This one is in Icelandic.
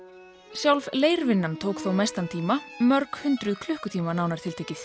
sjálf tók þó mestan tíma mörghundruð klukkutíma nánar tiltekið